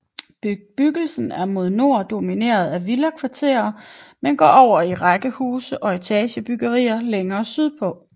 Bebyggelsen er mod nord domineret af villakvarterer men går over i rækkehuse og etagebyggeri længere sydpå